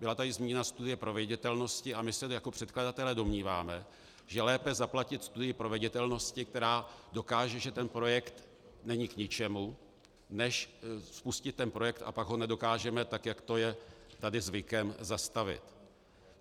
Byla tady zmíněna studie proveditelnosti a my se jako předkladatelé domníváme, že je lépe zaplatit studii proveditelnosti, která dokáže, že ten projekt není k ničemu, než spustit ten projekt, a pak ho nedokážeme, tak jak to je tady zvykem, zastavit.